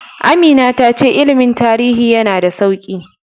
Amina ta ce ilimin tarihi yana da sauƙi.